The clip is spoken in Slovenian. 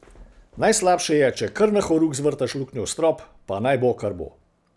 Najslabše je, če kar na horuk zvrtaš luknjo v strop, pa naj bo, kar bo.